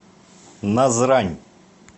назрань